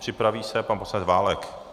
Připraví se pan poslanec Válek.